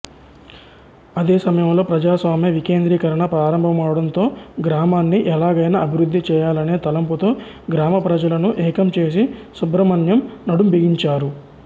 అదే సమయంలో ప్రజాస్వామ్య వికేంద్రీకరణ ప్రారంభమవడంతో గ్రామాని ఎలాగైనా అభివృద్ధి చేయాలనే తలంపుతో గ్రామప్రజలను ఏకం చేసి సుబ్రహ్మణ్యం నడుంబిగించారు